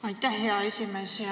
Aitäh, hea esimees!